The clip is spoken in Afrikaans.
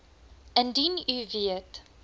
indien u weet